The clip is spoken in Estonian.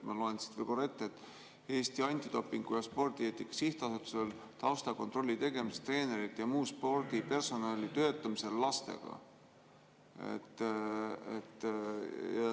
Ma loen siit võib olla korra veel ette: "Eesti Antidopingu ja Spordieetika Sihtasutusel taustakontrolli tegemiseks treenerite jm spordipersonali töötamisel lastega.